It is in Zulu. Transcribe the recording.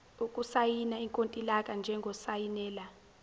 ukusayina ikontileka njengosayinela